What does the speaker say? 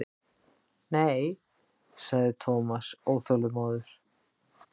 Nei sagði Thomas óþolinmóður.